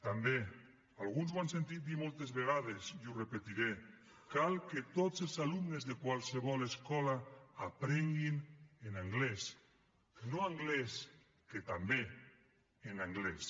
també alguns m’ho han sentit dir moltes vegades i ho repetiré cal que tots els alumnes de qualsevol escola aprenguin en anglès no anglès que també en anglès